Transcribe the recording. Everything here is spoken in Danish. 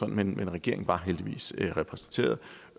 men regeringen var heldigvis repræsenteret